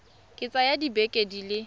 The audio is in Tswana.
ka tsaya dibeke di le